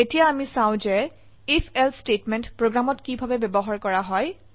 এতিয়া আমি চাও যে Ifelse স্টেটমেন্ট প্ৰোগ্ৰামত কিভাবে ব্যবহাৰ কৰা হয়